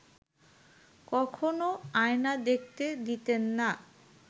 কখনও আয়না দেখতে দিতেন না